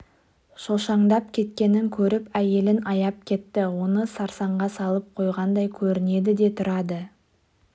шошаңдап кеткенін көріп әйелін аяп кетті оны сарсаңға салып қойғандай көрінеді де тұрады